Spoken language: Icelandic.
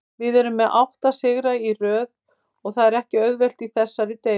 Við erum með átta sigra í röð og það er ekki auðvelt í þessari deild.